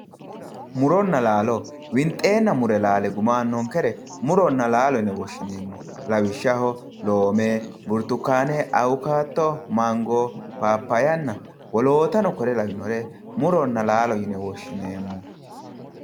Muronna laalo winxeenna mure laale guma aannonkere muronna laalo yine woshshineemmo. Lawishshaho loome, burtukaane, awukaatto, mango, paappayyanna wolootano kore lawinore muronna laalo yine woshineemmo.